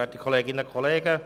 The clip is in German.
Grossrat Fuchs hat das Wort.